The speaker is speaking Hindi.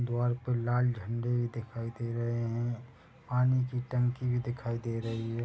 द्वार पर लाल झंडे भी दिखाई दे रहे हैं पानी की टंकी भी दिखाई दे रही हैं।